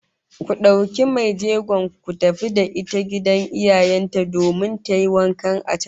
Ku dauki mai jegon ku tafi da ita gidan iyayen ta domin tayi wanka a can